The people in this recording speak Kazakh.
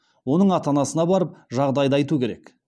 оның ата анасына барып жағдайды айту керек